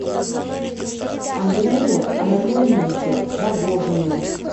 андрее анатольевиче рогожине